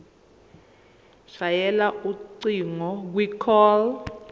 shayela ucingo kwicall